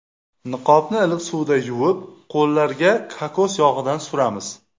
Niqobni iliq suvda yuvib, qo‘llarga kokos yog‘idan suramiz.